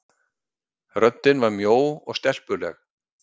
Röddin var mjó og stelpuleg.